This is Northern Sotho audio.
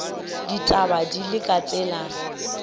ditaba di le ka tsela